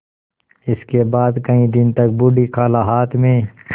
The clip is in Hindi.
इसके बाद कई दिन तक बूढ़ी खाला हाथ में